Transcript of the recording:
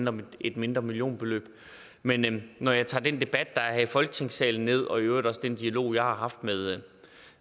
om et mindre millionbeløb men når jeg tager den debat der er her i folketingssalen ned og øvrigt også den dialog jeg har haft med